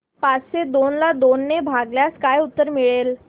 पाचशे दोन ला दोन ने भागल्यास काय उत्तर मिळेल